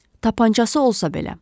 Tapancası olsa belə.